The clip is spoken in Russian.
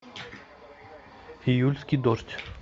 июльский дождь